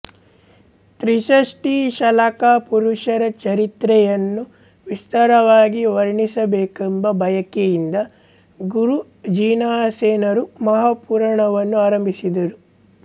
ತ್ರಿಷಷ್ಟಿಶಲಾಕಾಪುರುಷರ ಚರಿತ್ರೆಯನ್ನು ವಿಸ್ತಾರವಾಗಿ ವರ್ಣಿಸಬೇಕೆಂಬ ಬಯಕೆಯಿಂದ ಗುರು ಜಿನಸೇನರು ಮಹಾಪುರಾಣವನ್ನು ಆರಂಭಿಸಿದರು